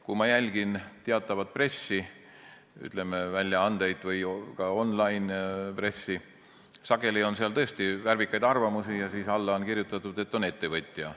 Kui ma jälgin teatavat pressi, väljaandeid või ka online-pressi, siis sageli on seal tõesti värvikaid arvamusi ja alla on kirjutatud, et see arvaja on ettevõtja.